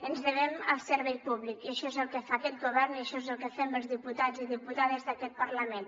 ens devem al servei públic i això és el que fa aquest govern i això és el que fem els diputats i diputades d’aquest parlament